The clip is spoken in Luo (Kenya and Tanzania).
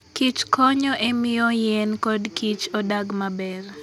Kich konyo e miyo yien kod Kich odag maber.